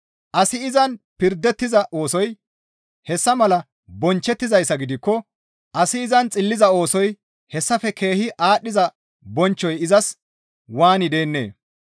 Asi izan pirdettiza oosoy hessa mala bonchchettizayssa gidikko asi izan xilliza oosoy hessafe keehi aadhdhiza bonchchoy izas waani deennee?